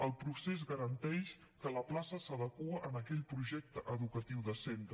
el procés garanteix que la plaça s’adequa a aquell projecte educatiu de centre